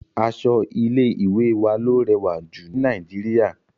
Aṣọ ilé ìwé wa ló rẹwà jù ní Nàìjíríà..